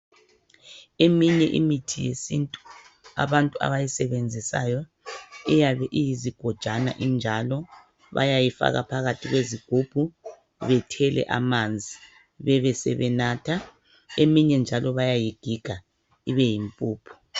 Eminye imithi yesintu abantu abayisebenzisayo iyabe iyizigojana injalo bayayifaka phakathi kwezigubhu bethele amanzi bebesebenatha eminye njalo bayayigiga ibeyimpuphu.